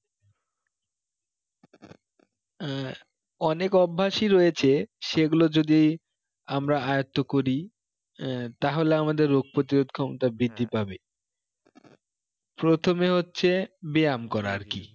আহ অনেক অভ্যাসই রয়েছে সেগুলো যদি আমরা আয়ত্ত করি আহ তাহলে আমাদের রোগ প্রতিরোধ ক্ষমতা বৃদ্ধি পাবে প্রথমে হচ্ছে ব্যাম করা আর কি